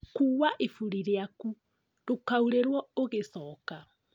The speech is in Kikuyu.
Kua iburi rĩaku ndũkaurĩrwo ũgĩcoka